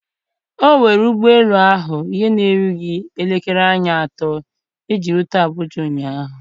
O were ụgbọ elu ahụ ihe na-erughị elekere anya atọ iji rute Abuja ụnyahụ.